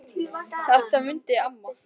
Þetta mundi amma.